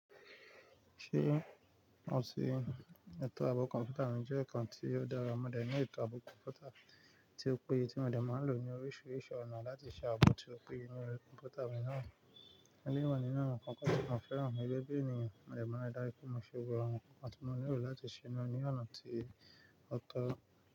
Ṣé ọ ti ẹ̀tọ́ ààbò kọ̀m̀pútà mi jẹ́ nǹkan tí ó dára. Mo dẹ̀ ní ẹ̀tọ́ ààbò kọ̀m̀pútà tí ó péye tí mo dẹ̀ máa ń lò ní oríṣiríṣi ọ̀nà láti ṣe ààbò tí ó péye nínú kọ̀m̀pútà mi náà. Eléyìí wa nínú àwọn ǹkan tí mo fẹ́ràn ní gẹ́gẹ́ bí ènìyàn, mo dẹ̀ máa ń rí dájú pé mo ṣe gbogbo àwọn nǹkan tí mo nílò láti ṣe náà ní ọ̀nà tí ó tọ́.